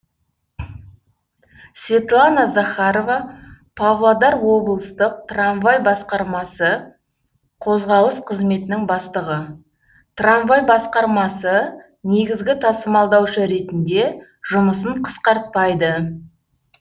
светлана захарова павлодар облыстық трамвай басқармасы қозғалыс қызметінің бастығы трамвай басқармасы негізгі тасымалдаушы ретінде жұмысын қысқартпайды